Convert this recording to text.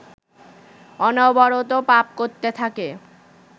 অনবরত পাপ করতে থাকে